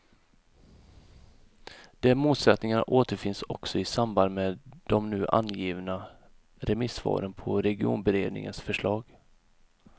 De motsättningarna återfinns också i samband med de nu avgivna remissvaren på regionberedningens förslag.